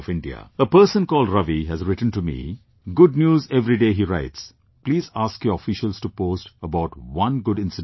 A person called Ravi has written to me "Good News Everyday he writes please ask your officials to post about one good incident every day